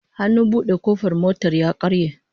Hannun bude kofar motar ya karye